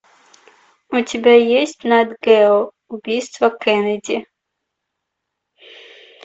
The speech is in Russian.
у тебя есть нат гео убийство кеннеди